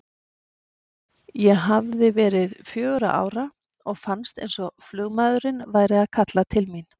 Ég hafði verið fjögurra ára og fannst eins og flugmaðurinn væri að kalla til mín.